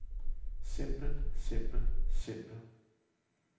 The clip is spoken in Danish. simpel simpel simpel